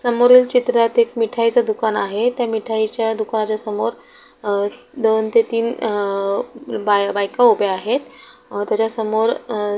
समोरील चित्रात एक मिठाईच दुकान आहे त्या मिठाईच्या दुकानाच्या समोर अ दोन ते तीन बा बायका उभ्या आहेत अ त्याच्या समोर --